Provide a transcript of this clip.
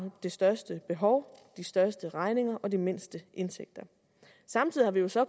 det største behov de største regninger og de mindste indtægter samtidig har vi jo så